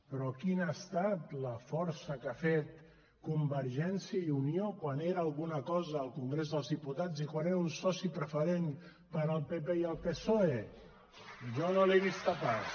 però quina ha estat la força que ha fet convergència i unió quan era alguna cosa al congrés dels diputats i quan era un soci preferent per al pp i el psoe jo no l’he vista pas